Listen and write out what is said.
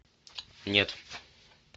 нет